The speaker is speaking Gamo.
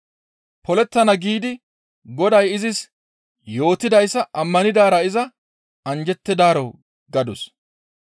Polettana giidi Goday izis yootidayssa ammanidaara iza anjjettidaaro» gadus.